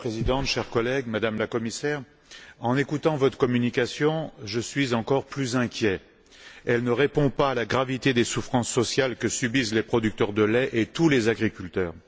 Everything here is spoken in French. Madame la Présidente, Madame la Commissaire, chers collègues, en écoutant votre communication, je suis encore plus inquiet. Elle ne répond pas à la gravité des souffrances sociales que subissent les producteurs de lait et tous les agriculteurs.